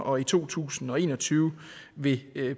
og i to tusind og en og tyve vil